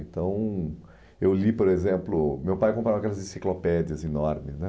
Então, eu li, por exemplo, meu pai comprava aquelas enciclopédias enormes. né